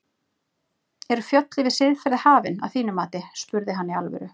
Eru fjöll yfir siðferði hafin, að þínu mati? spurði hann í alvöru.